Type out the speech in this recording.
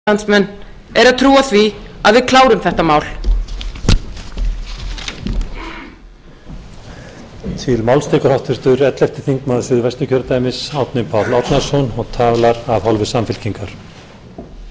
virðulegur forseti góðir landsmenn við lifum erfiða tíma og búum við erfitt ástand en vandinn er þó ekki óyfirstíganlegur allt sem þarf er skýr framtíðarsýn skýr stefnumörkun skýr sýn á það hvernig við komumst út úr þeim